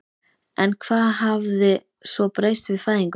En hvað hafði svo breyst við fæðinguna?